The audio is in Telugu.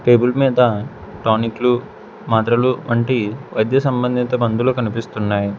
టేబుల్ మీద టానిక్ లు మాత్రలు వంటి వైద్య సంబంధిత మందులు కనిపిస్తున్నాయి.